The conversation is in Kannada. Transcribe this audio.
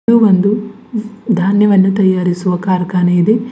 ಇದು ಒಂದು ಧಾನ್ಯವನ್ನು ತಯಾರಿಸುವ ಕಾರ್ಖಾನೆ ಇದೆ.